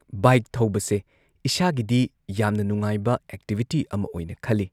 bike ꯊꯧꯕꯁꯦ ꯏꯁꯥꯒꯤꯗꯤ ꯌꯥꯝꯅ ꯅꯨꯡꯉꯥꯏꯕ ꯑꯦꯛꯇꯤꯕꯤꯇꯤ ꯑꯃ ꯑꯣꯏꯅ ꯈꯜꯂꯤ